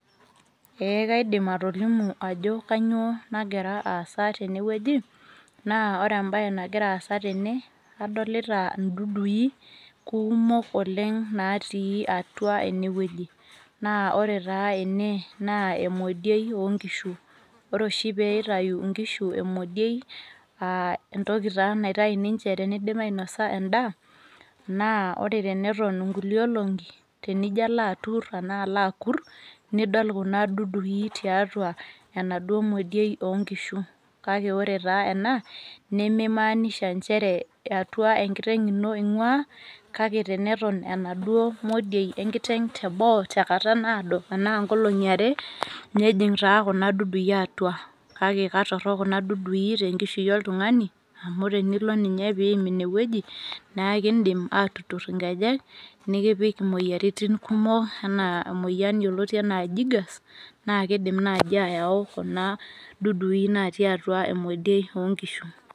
Eeh kaidim atolimu aajo kanyoo nagira aasa teene wueji, naa oore embaye nagira aasa teene, kadolita in'dudui kuumok oleng natii atua eene wueji. Naa oore taa eene naa emojioi onkishui. Oore oshi teneitau inkishu emojioi aa entoki taa oshi naitau ninche teneidip ainosa en'daa, naa oore teneton inkulie olong'i, tenijo aalo akur nidol kuuna dudui tiatua enaduo mojioi onkishu. Kake oore taa kuuna, nemeimaanisha inchere atua enkiteng' iino eing'uaa, kake teneton enaduo mojioi enkiteng' teboo tenkata naado, tena inkolong'i aare, nejing taa kuuna dudui atua kake katorok kuuna dudui tenkishui oltung'ani amuu ore enilo ninye peyie iim iine wueji, naa ekiidim atutur inkejek, nekipik imueyiaritin kumok, enaa eueyian yioloti enaa jiggers naa keidim naaji ayau kuuna dudui natii emejioi onkishu.